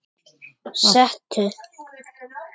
Sestu